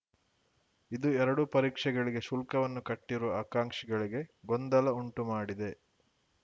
ಇದು ಎರಡೂ ಪರೀಕ್ಷೆಗಳಿಗೆ ಶುಲ್ಕವನ್ನು ಕಟ್ಟಿರುವ ಆಕಾಂಕ್ಷಿಗಳಿಗೆ ಗೊಂದಲ ಉಂಟುಮಾಡಿದೆ